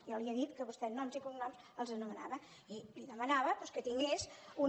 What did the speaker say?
jo li he dit que vostè amb noms i cognoms els anomenava i li demanava doncs que tingués una